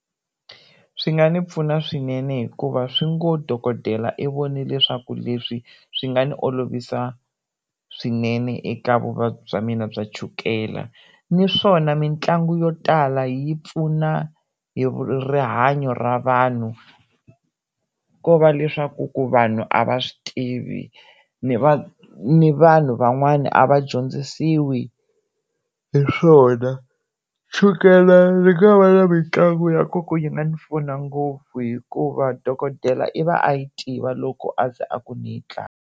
Swi nga ndzi pfuna swinene hikuva swi ngo dokodela i voni leswaku leswi swi nga ndzi olovisa swinene eka vuvabyi bya mina bya chukela ni swona mitlangu yo tala yi pfuna hi rihanyo ra vanhu ko va leswaku ku vanhu a va swi tivi ni ni vanhu van'wani a va dyondzisiwa hi swona chukele ri nga va aa mitlangu ya ku yi nga ndzi pfuna ngopfu hikuva dokodela i va a yi tiva loko aze a ku ndzi yi tlanga.